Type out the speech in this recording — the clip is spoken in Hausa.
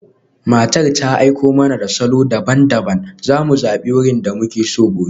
Matar ta aiko mana da salo daban-daban, za mu zabi wurin da muke so gobe.